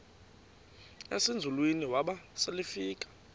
ezinzulwini waba selefika